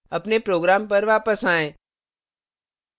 अपने program पर वापस आएँ